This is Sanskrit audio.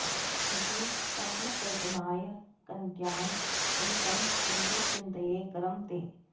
इति तद्बलकल्पनाय कट्यां कलितं श्रीधर चिन्तये करं ते